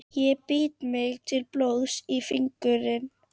Ég bít mig til blóðs í fingurinn.